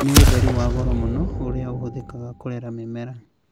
Nĩ ũtheri wa goro mũno, ũrĩa ũhũthĩkaga harĩ kũrera mĩmera.